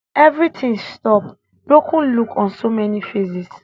evri tin stop broken look on so many faces